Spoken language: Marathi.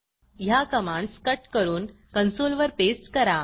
ह्या कमांडस कट करून कन्सोलवर पेस्ट करा